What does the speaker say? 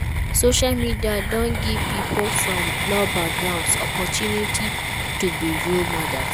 Social media don give pipo from low backgrounds opportunity to be role models